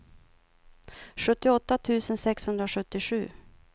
sjuttioåtta tusen sexhundrasjuttiosju